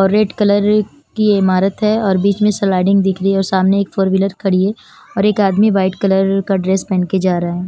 और red colour की इमारत है और बीच में स्लाडिंग दिख रही है और सामने एक फोर विलर खड़ी है और एक आदमी वाइट कलर का ड्रेस पेहन के जा रहा है।